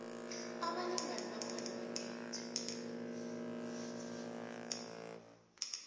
abalingani bakhona bakhethe